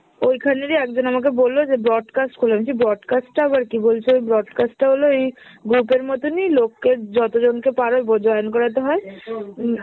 ঐখানেরই একজন আমাকে বললো যে broadcast খোলেন, আমি বলছি broadcast টা আবার কী? বলছে ওই broadcast টা হলো এই group এর মতনই লোককে যতজনকে পারো বো join করাতে হয়। উম